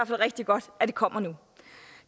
rigtig godt at det kommer nu